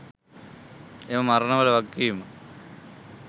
එම මරණවල වගකීම